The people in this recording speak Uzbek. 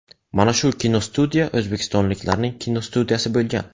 Mana shu kinostudiya o‘zbekistonliklarning kinostudiyasi bo‘lgan.